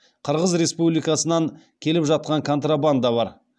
қырғыз республикасынан келіп жатқан контрабанда бар